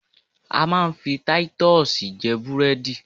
A máa ń fi taitusì jẹ búrẹ́dì